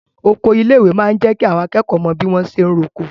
Oko ilé ìwé máa n jẹ kí àwọn akẹ́kọ̀ọ́ mọ bi wọn ṣe n r'oko.